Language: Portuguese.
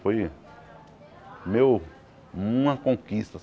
Foi meu uma conquista.